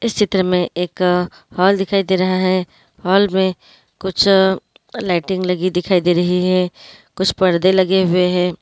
इस चित्र में एक हॉल दिखाई दे रहा है हॉल में कुछ लाइटिंग लगी दिखाई दे रही है कुछ पर्दे लगे हुए हैं।